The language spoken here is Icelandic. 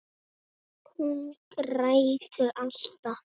Hún grætur alltaf.